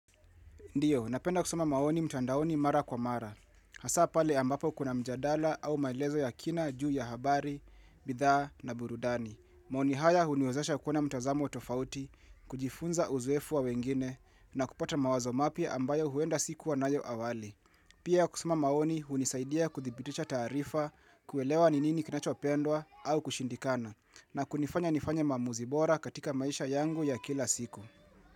Ndiyo, napenda kusoma maoni mtandaoni mara kwa mara. Hasa pale ambapo kuna mjadala au maelezo ya kina juu ya habari, bidhaa na burudani. Maoni haya huniozosha kuona mtazamo tofauti. Kujifunza uzoefu wa wengine na kupata mawazo mapya ambayo huenda sikuwa nayo awali. Pia kusoma maoni hunisaidia kuthibitisha taarifa kuelewa ninini kinacho pendwa au kushindikana na kunifanya nifanya maamuzi bora katika maisha yangu ya kila siku.